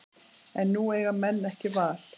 En nú eiga menn ekki val